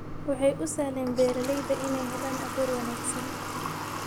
Waxay u sahleen beeralayda inay helaan abuur wanaagsan.